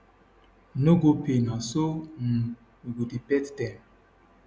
no go pay na so um we go dey pet dem